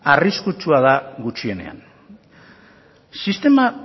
arriskutsua da gutxienean sistema